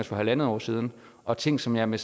for halvandet år siden og ting som jeg med